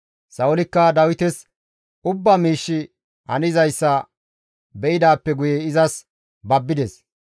Sa7oolikka Dawites ubba miishshi hanizayssa be7idaappe guye izas babbides.